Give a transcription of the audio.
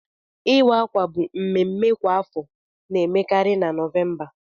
Iwe akwa bụ mmemme kwa afọ na emekarị na November.